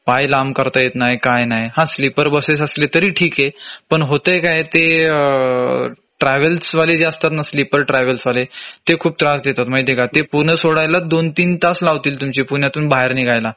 पाय लांब करता येत नाय काय नाय हा स्लीपर बसेस असली तरी ठीके पण होतंय काय ते ट्रॅव्हल्स वाले जे असतात ना स्लीपर ट्रॅव्हल्स वाले ते खूप त्रास देतात माहिती आहे का? ते पूण सोडायलाच दोन तीन तास लावतील तुमचे पुण्यातून बाहेर निघायला